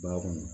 Ba kɔnɔ